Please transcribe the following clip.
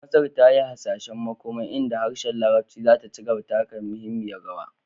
Masar ta yi hasashen makoma inda harshen Larabci zai ci gaba da taka muhimmiyar rawa